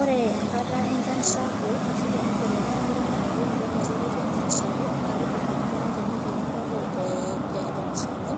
Ore enkata enchan sapuk ashu tenibelekenya oloing'ang'e pitodolu ajo ketii enchan sapuk, nakidim endaa tenituuno apa temusano,